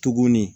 Tuguni